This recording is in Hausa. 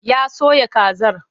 Ya soya kazar.